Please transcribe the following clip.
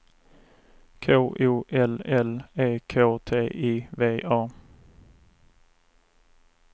K O L L E K T I V A